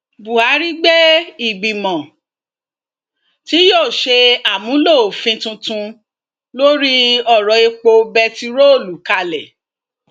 buhari gbé ìgbìmọ tí yóò ṣe àmúlò òfin tuntun lórí ọrọèpo bẹntiróòlù kalẹ